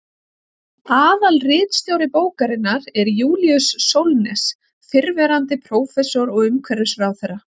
Aðalritstjóri bókarinnar er Júlíus Sólnes, fyrrverandi prófessor og umhverfisráðherra.